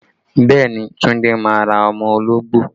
Bẹẹ ni, Tunde máa ra ọmọ ológbò